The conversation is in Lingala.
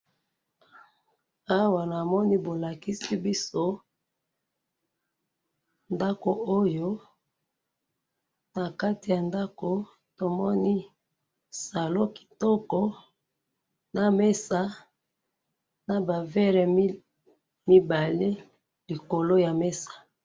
awa namoni bolakisi biso ndaku oyo nakati ya ndaku tomoni salon kitoko na mesa na ba verre mibale likolo ya mesa